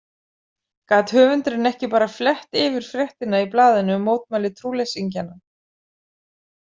Gat höfundurinn ekki bara flett yfir fréttina í blaðinu um mótmæli trúleysingjanna?